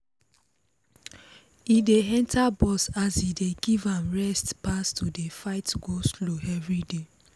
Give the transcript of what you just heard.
e dey enter bus as e dey give am rest pass to dey fight go-slow everyday.